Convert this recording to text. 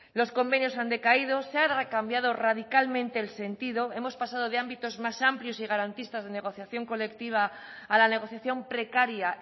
los convenios han decaído se ha cambiado radicalmente el sentido hemos pasado de ámbitos más amplios y garantistas de negociación colectiva a la negociación precaria